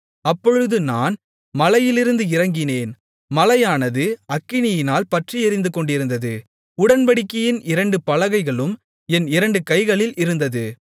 அப்பொழுது நான் மலையிலிருந்து இறங்கினேன் மலையானது அக்கினியால் பற்றி எரிந்துகொண்டிருந்தது உடன்படிக்கையின் இரண்டு பலகைகளும் என் இரண்டு கைகளில் இருந்தது